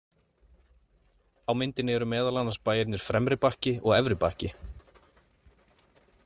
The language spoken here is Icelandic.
Á myndinni eru meðal annars bæirnir Fremri-Bakki og Efri-Bakki.